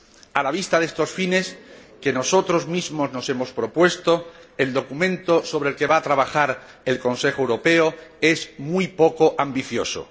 A la vista de estos fines, que nosotros mismos nos hemos propuesto, el documento sobre el que va a trabajar el Consejo Europeo es muy poco ambicioso